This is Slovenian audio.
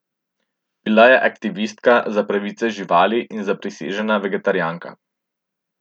Bila je aktivistka za pravice živali in zaprisežena vegetarijanka.